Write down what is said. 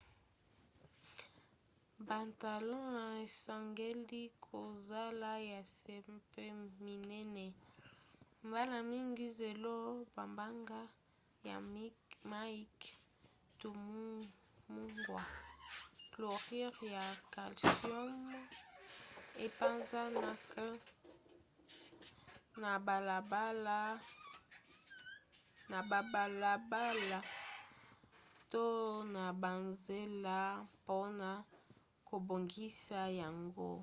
batalon esengeli kozala ya se mpe minene. mbala mingi zelo mabanga ya mike to mungwa chlorure ya calcium epanzanaka na babalabala to na banzela mpona kobongisa yango